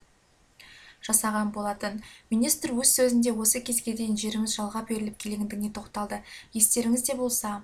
жасаған болатын министр өз сөзінде осы кезге дейін жеріміз жалға беріліп келгендігіне тоқталды естеріңізде болса